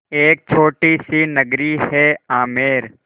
एक छोटी सी नगरी है आमेर